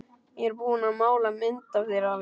Ég er búin að mála mynd af þér, afi.